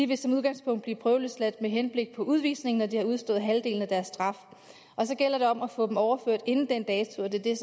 vil som udgangspunkt blive prøveløsladt med henblik på udvisning når de har udstået halvdelen af deres straf og så gælder det om at få dem overført inden den dato og det er